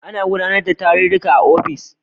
Ana gudanar da tarurruka da yawa a ofis